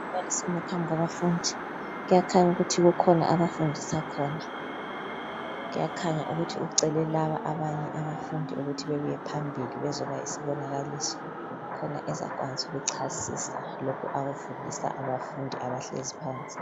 Umbalisi ume phambi kwabafundi. Kuyakhanya ukuthi kukhona abafundisa khona. Kuyakhanya ukuthi ucele laba abafundi bebuye phambili bezokuba yizibonakaliso khona ezakwanisa ukuchasisa lokhu akufundisa abafundi abahlezi phansi.